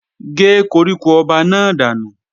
Gé koríko ọba náà dànù!